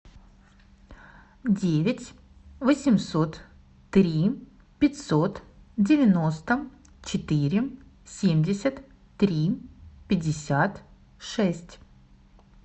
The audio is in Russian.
девять восемьсот три пятьсот девяносто четыре семьдесят три пятьдесят шесть